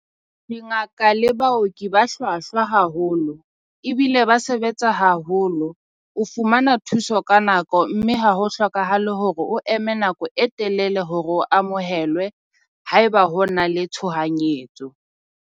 Dingaka le baoki ba hlwahlwa haholo ebile ba sebetsa haholo. O fumana thuso ka nako mme ha ho hlokahale hore o eme nako e telele hore o amohelwe. Haeba ho na le tshohanyetso.